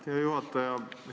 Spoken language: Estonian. Hea juhataja!